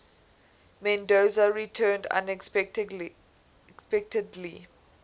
mendoza returned unexpectedly